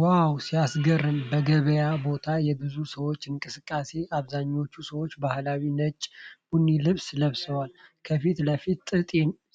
ዋው ሲያስገርም! በገበያ ቦታ የብዙ ሰዎች እንቅስቃሴ። አብዛኞቹ ሰዎች ባህላዊ ነጭ/ቡኒ ልብስ ለብሰዋል። ከፊት ለፊት ጥጥ